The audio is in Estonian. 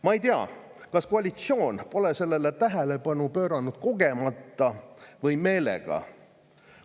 Ma ei tea, kas koalitsioon pole sellele tähelepanu pööranud kogemata või meelega.